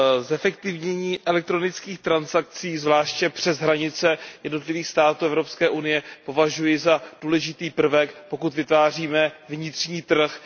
Zefektivnění elektronických transakcí, zvláště přes hranice jednotlivých států Evropské unie, považuji za důležitý prvek, pokud vytváříme vnitřní trh.